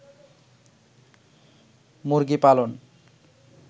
মুরগি পালন